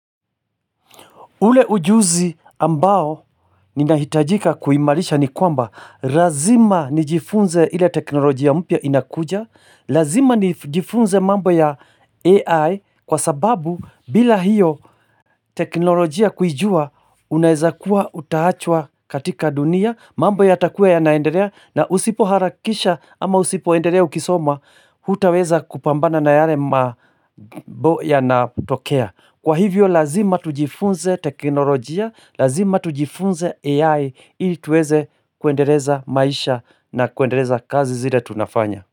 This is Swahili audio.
Ule ujuzi ambao ninahitajika kuimarisha ni kwamba lazima nijifunze ile teknolojia mpya inakuja Lazima nijifunze mambo ya AI kwa sababu bila hiyo teknolojia kuijua unaeza kuwa utaachwa katika dunia mambo yatakuwa yanaendelea na usipo harakisha ama usipo endelea ukisoma hutaweza kupambana na yale mambo yanatokea Kwa hivyo lazima tujifunze teknolojia, lazima tujifunze AI ili tuweze kuendeleza maisha na kuendeleza kazi zile tunafanya.